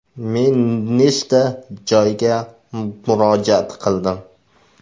Men nechta joyga murojaat qildim.